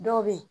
Dɔw bɛ yen